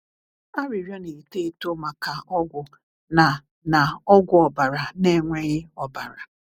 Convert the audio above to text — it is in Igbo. "Arịrịọ Na-eto Eto Maka Ọgwụ Na Na Ọgwụ Ọbara Na-enweghị Ọbara"